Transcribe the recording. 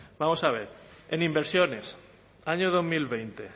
vamos a ver en inversiones año dos mil veinte